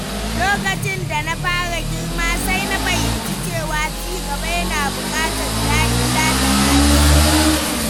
Lokacin da na fara girma, sai na fahimci cewa cigaba yana buƙatar dagiya da naci.